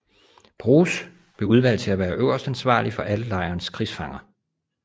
Broz blev udvalgt til at være øverstansvarlig for alle lejrens krigsfanger